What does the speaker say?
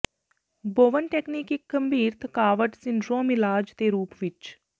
ਬੋਵਨ technique ਇੱਕ ਗੰਭੀਰ ਥਕਾਵਟ ਸਿੰਡਰੋਮ ਇਲਾਜ ਦੇ ਰੂਪ ਵਿੱਚ